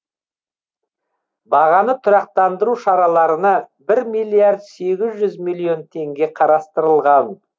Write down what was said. бағаны тұрақтандыру шараларына бір миллиард сегіз жүз миллион теңге қарастырылған